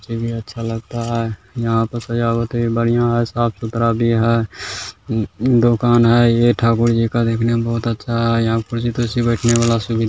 भी अच्छा लगता है यहाँ पर सजावट है बढ़िया है साफ सुथरा भी है उम उम दुकान है ये ठाकुर जी का देखने में बहुत अच्छा है यहाँ कुर्सी तुर्सी बैठने वाला सुवी --